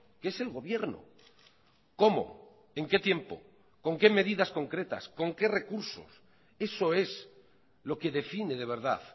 que es el gobierno cómo en qué tiempo con qué medidas concretas con qué recursos eso es lo que define de verdad